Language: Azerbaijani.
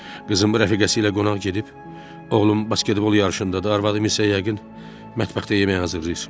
Qızım rəfiqəsi ilə qonaq gedib, oğlum basketbol yarışındadır, arvadım isə yəqin mətbəxdə yemək hazırlayır.